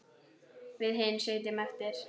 Við hin sitjum eftir.